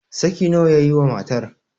saki nawa ya yi wa matar?